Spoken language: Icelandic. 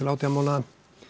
átján mánaða